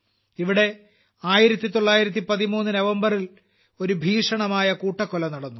ഇവിടെ 1913 നവംബറിൽ ഒരു ഭീഷണമായ കൂട്ടക്കൊല നടന്നു